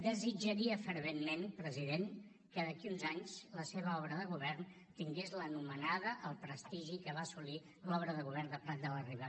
desitjaria ferventment president que d’aquí a uns anys la seva obra de govern tingués l’anomenada el prestigi que va assolir l’obra de govern de prat de la riba